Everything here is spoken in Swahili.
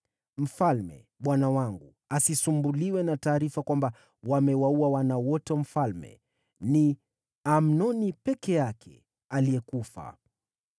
Mfalme bwana wangu asisumbuliwe na taarifa kwamba wamewaua wana wote wa mfalme. Ni Amnoni peke yake aliyekufa.”